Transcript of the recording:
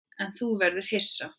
En nú verður þú hissa!